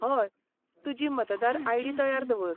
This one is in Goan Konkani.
हय. तुजी मतदार आयडी तयार दवर.